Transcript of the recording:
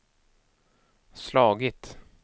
slagit